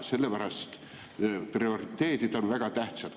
Sellepärast prioriteedid on väga tähtsad.